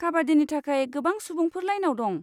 काबाड्डिनि थाखाय गोबां सुबुंफोर लाइनआव दं।